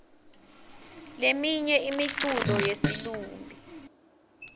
leminye imiculo yesilumbi